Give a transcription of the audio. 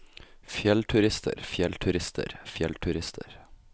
fjellturister fjellturister fjellturister